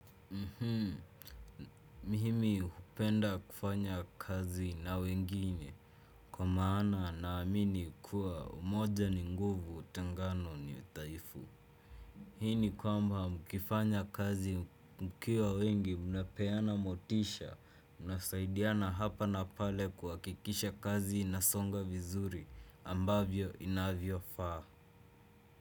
Mihimi hupenda kufanya kazi na wengine. Kwa maana, naamini kua umoja ni nguvu, tengano ni dhaifu. Hii ni kwamba, mkifanya kazi mkiwa wengi mnapeana motisha. Mnasaidiana hapa na pale kwa kikisha kazi inasonga vizuri. Ambavyo inavyofaa.